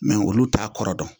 olu t'a kɔrɔ dɔn